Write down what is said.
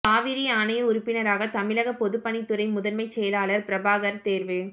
காவிரி ஆணைய உறுப்பினராக தமிழக பொதுப்பணித்துறை முதன்மை செயலாளர் பிரபாகர் தேர்வு